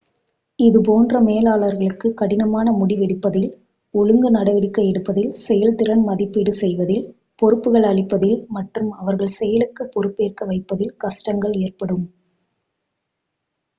இது போன்ற மேலாளர்களுக்கு கடினமான முடிவெடுப்பதில் ஒழுங்கு நடவடிக்கை எடுப்பதில் செயல்திறன் மதிப்பீடு செய்வதில் பொறுப்புகள் அளிப்பதில் மற்றும் அவர்கள் செயலுக்குப் பொறுப்பேற்க வைப்பதில் கஷ்டங்கள் ஏற்படும்